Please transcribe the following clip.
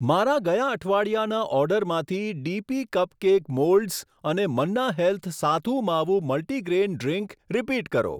મારા ગયા અઠવાડિયાના ઓર્ડરમાંથી ડીપી કપકેપ મોલ્ડસ અને Manna health Sathu Maavu multigrain drink repeat કરો.